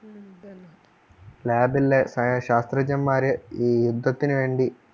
Lab ല്ലേ പഴയ ശാസ്ത്രജ്ഞൻമാർ ഈ യുദ്ധത്തിനു വേണ്ടി